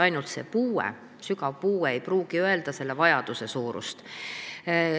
Ainult see, et on sügav puue, ei pruugi näidata vajaduse suurust.